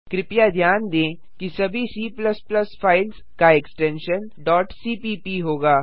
कृपया ध्यान दें कि सभी C फाइल्स का एक्स्टेंशन cpp होगा